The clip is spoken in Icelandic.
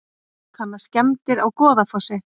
Kanna skemmdir á Goðafossi